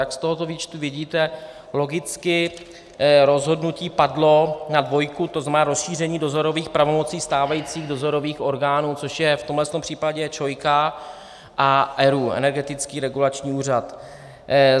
Jak z tohoto výčtu vidíte, logicky rozhodnutí padlo na dvojku, to znamená rozšíření dozorových pravomocí stávajících dozorových orgánů, což je v tomto případě ČOI a ERÚ - Energetický regulační úřad.